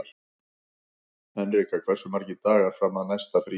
Henrika, hversu margir dagar fram að næsta fríi?